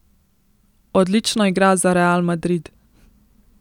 Odlično igra za Real Madrid.